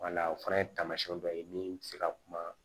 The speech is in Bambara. o fana taamasiyɛn dɔ ye min bɛ se ka kuma